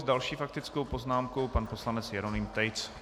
S další faktickou poznámkou pan poslanec Jeroným Tejc.